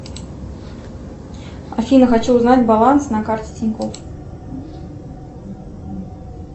афина хочу узнать баланс на карте тинькофф